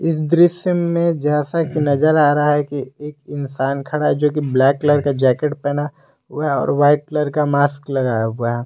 इस दृश्य में जैसा की नजर आ रहा है कि एक इंसान खड़ा है जो की ब्लैक कलर का जैकेट पहना हुआ है और वाइट कलर का मास्क लगाया हुआ है।